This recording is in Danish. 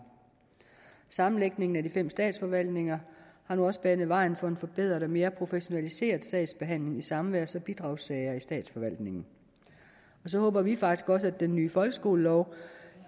sammenlægningen af de fem statsforvaltninger har nu også banet vejen for en forbedret og mere professionaliseret sagsbehandling i samværs og bidragssager i statsforvaltningen så håber vi faktisk også at den nye folkeskolelov